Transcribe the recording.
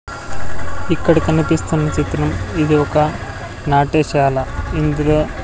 ఇక్కడ కనిపిస్తున్న చిత్రం ఇది ఒక నాట్యశాల ఇందులో.